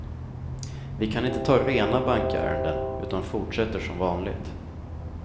Vi kan inte ta rena bankärenden, utan fortsätter som vanligt.